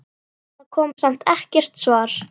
Það kom samt ekkert svar.